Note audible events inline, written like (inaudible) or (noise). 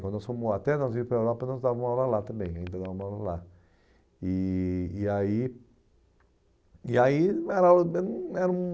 Quando nós fomos até nós ir para a Europa, nós dávamos uma aula lá também. (unintelligible) E e aí e aí (unintelligible) era um